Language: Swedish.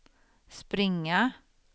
springa